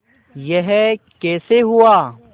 यह कैसे हुआ